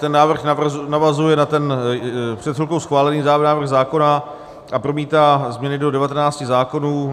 Ten návrh navazuje na ten před chvilkou schválený návrh zákona a promítá změny do 19 zákonů.